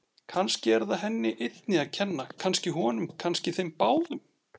Kannski er það henni einni að kenna, kannski honum, kannski þeim báðum.